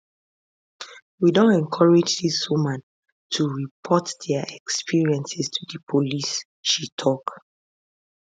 we don encourage dis women to report dia experiences to di police she tok